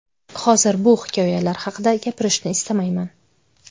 Hozir bu hikoyalar haqida gapirishni istamayman.